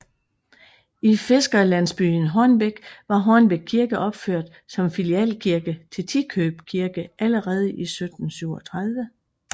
I fiskerlandsbyen Hornbæk var Hornbæk Kirke opført som filialkirke til Tikøb Kirke allerede i 1737